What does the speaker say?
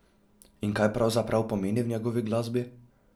In kaj pravzaprav pomeni v njegovi glasbi?